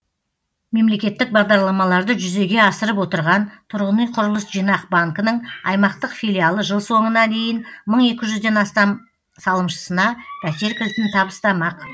мемлекеттік бағдарламаларды жүзеге асырып отырған тұрғын үй құрылыс жинақ банкінің аймақтық филиалы жыл соңына дейін мың екі жүзден астам салымшысына пәтер кілтін табыстамақ